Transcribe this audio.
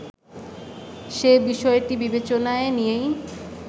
সে বিষয়টি বিবেচনায় নিয়েই